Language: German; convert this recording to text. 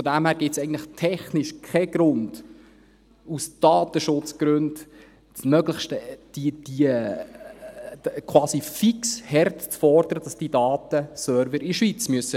Daher gibt es eigentlich technisch keinen Grund, aus Datenschutzgründen, quasi fix hart zu fordern, dass die Datenserver in der Schweiz liegen müssen.